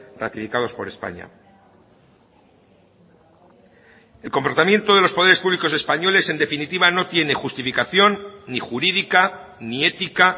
ratificados por españa el comportamiento de los poderes públicos españoles en definitiva no tiene justificación ni jurídica ni ética